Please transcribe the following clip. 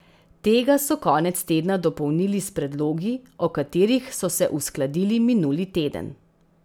Tega so konec tedna dopolnili s predlogi, o katerih so se uskladili minuli teden.